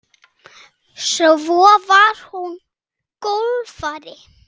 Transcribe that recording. Svo var hún golfari góður.